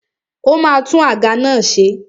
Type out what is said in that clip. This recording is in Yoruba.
Ó ma tún àga náà ṣe.